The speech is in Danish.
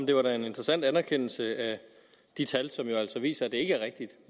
det var da en interessant anerkendelse af de tal som jo altså viser at det ikke er rigtigt